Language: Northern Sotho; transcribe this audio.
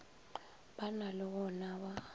ba na le wona ba